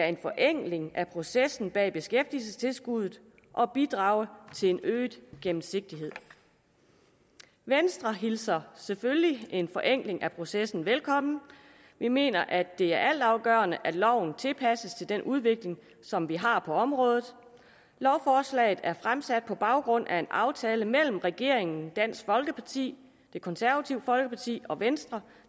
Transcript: en forenkling af processen bag beskæftigelsestilskuddet og bidrage til en øget gennemsigtighed venstre hilser selvfølgelig en forenkling af processen velkommen vi mener at det er altafgørende at loven tilpasses den udvikling som vi har på området lovforslaget er fremsat på baggrund af en aftale mellem regeringen dansk folkeparti det konservative folkeparti og venstre